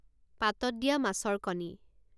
পাতত দিয়া মাছৰ কণী